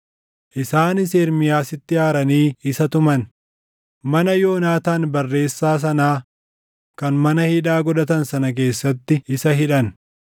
Isaanis Ermiyaasitti aaranii isa tuman; mana Yoonaataan barreessaa sanaa kan mana hidhaa godhatan sana keessatti isa hidhan.